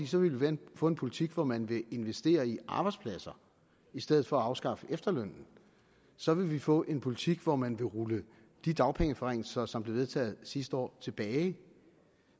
så vil vi få en politik hvor man vil investere i arbejdspladser i stedet for at afskaffe efterlønnen så vil vi få en politik hvor man vil rulle de dagpengeforringelser som blev vedtaget sidste år tilbage